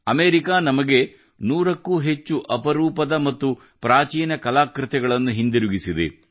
America ನಮಗೆ ನೂರಕ್ಕೂ ಹೆಚ್ಚು ಅಪರೂಪದ ಮತ್ತು ಪ್ರಾಚೀನ ಕಲಾಕೃತಿಗಳನ್ನು ಹಿಂದಿರುಗಿಸಿದೆ